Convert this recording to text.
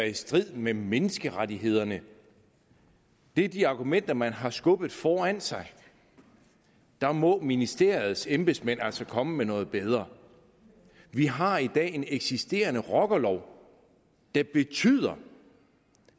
i strid med menneskerettighederne det er de argumenter man har skubbet foran sig der må ministeriets embedsmænd altså komme med noget bedre vi har i dag en eksisterende rockerlov der betyder